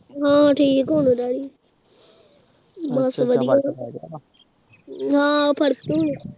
ਹਾਂ ਠੀਕ ਹੋਗੇ ਡੈਡੀ ਬਸ ਵਧੀਆ ਹਾਂ ਫਰਕ ਹੁਣ